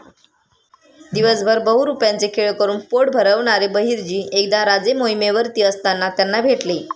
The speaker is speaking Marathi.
दिवसभर बहुरुप्याचे खेळ करून पोट भरवणारे बहिर्जी एकदा राजे मोहिमेवरती असताना त्यांना भेटले.